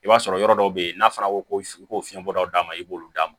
I b'a sɔrɔ yɔrɔ dɔw bɛ yen n'a fɔra ko fiɲɛbɔla d'a ma i b'olu d'a ma